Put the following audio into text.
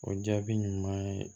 O jaabi ɲuman ye